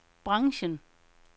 branchen